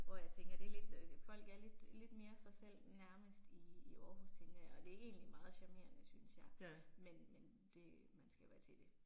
Hvor jeg tænker det er lidt øh folk er lidt lidt mere sig selv nærmest i i Aarhus tænker jeg og det er egentlig meget charmerende synes jeg, men men det man skal være til det